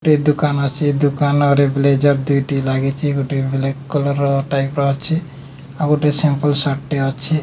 ଟେ ଦୁକାନ ଅଛି ଦୁକାନ ରେ ବ୍ଲେଜର ଦୁଇଟି ଲାଗିଚି ଗୁଟେ ବ୍ଲାକ କଲର ର ଟାଇପ ର ଅଛି ଆଉ ଗୁଟେ ସିମ୍ପୁଲ ସାର୍ଟ ଟେ ଅଛି।